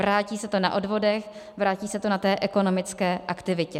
Vrátí se to na odvodech, vrátí se to na té ekonomické aktivitě.